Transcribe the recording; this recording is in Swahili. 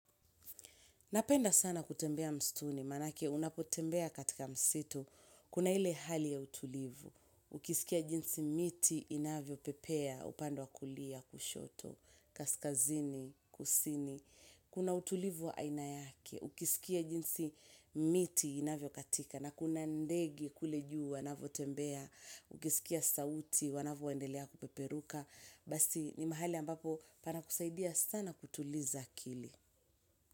Napenda sana kutembea msituni, manake unapotembea katika msitu, kuna hile hali ya utulivu, ukisikia jinsi miti inavyo pepea, upande wakulia, kushoto, kaskazini, kusini, kuna utulivu ya aina yake, ukisikia jinsi miti inavyo katika, na kuna ndege kule juu wanavyo tembea, ukisikia sauti wanavyo endelea kupeperuka, basi ni mahali ambapo panakusaidia sana kutuliza akili.